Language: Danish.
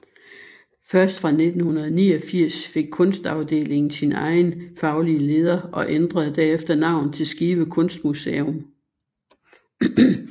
Først fra 1989 fik Kunstafdelingen sin egen faglige leder og ændrede derefter navn til Skive Kunstmuseum